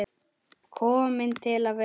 Kominn til að vera.